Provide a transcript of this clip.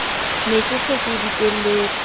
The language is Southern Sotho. ne ke se ke dikelletse